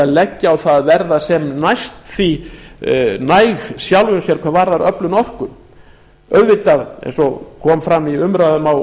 leggja á það að verða sem næst því næg sjálfum sér hvað varðar öflun orku auðvitað eins og fram kom í umræðum á